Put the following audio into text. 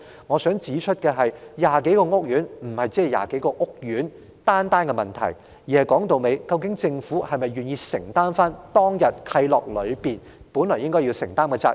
我想指出的是，這不單是20多個屋苑的問題，而是政府是否願意承擔當天訂立契諾時當局本應承擔的責任。